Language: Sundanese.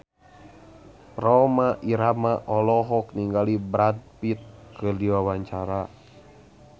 Rhoma Irama olohok ningali Brad Pitt keur diwawancara